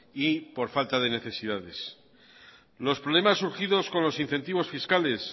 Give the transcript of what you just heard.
y por falta de necesidades los problemas surgidos con los incentivos fiscales